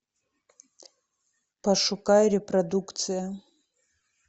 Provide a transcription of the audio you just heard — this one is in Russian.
пошукай репродукция